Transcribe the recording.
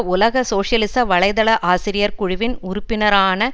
உலக சோசியலிச வலைத்தள ஆசிரியர் குழுவின் உறுப்பினரான